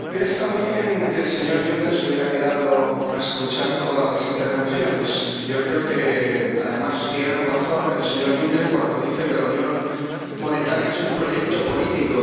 Señora Presidenta, habría estado bien que el señor Juncker se hubiera quedado a escuchar todas las intervenciones. Yo creo que, además, tiene razón el señor Juncker cuando dice que la unión monetaria es un proyecto político.